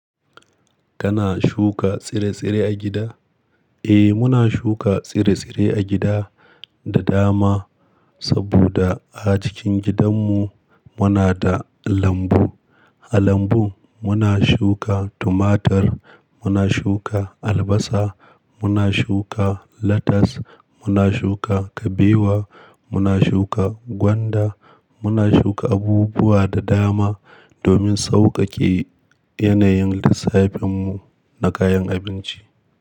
Shuka tsire tsire agida da dama saboda har acikin gidanmu muna da lambu, a lambun muna shuka tumatir, muna shuka albasa, muna shuka latas, muna shuka kabewa, muna shuka gwanda, muna shuka abubuwa da daman domin saukake.